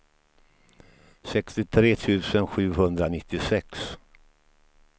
sextiotre tusen sjuhundranittiosex